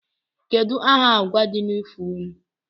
Kedu aha agwa di n'ifo unu?